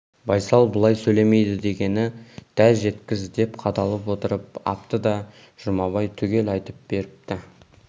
байсал бұлай сөйлемейді дегенін дәл жеткіз деп қадалып отырып апты да жұмабай түгел айтып беріпті